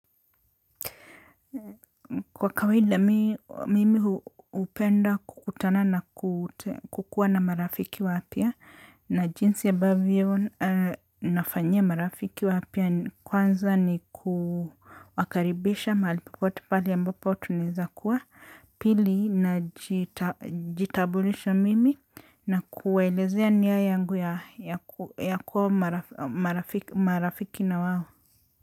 Kwa kawaida mimi hupenda kukutana na kukuwa na marafiki wapya na jinsi ambavyo nafanyia marafiki wapya kwanza ni kuwakaribisha mahali popote pahali ambapo tunaeza kuwa na jinsi ambavyo yon nafanyia marafiki wapia kwanza ni kukaribisha malipipote pali ambapo tuniza kuwa na kuwaelezea nia yangu ya kuwa marafiki marafiki na wao.